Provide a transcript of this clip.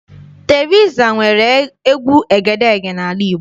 Teriza nwere egwu egedeege n'ala Igbo.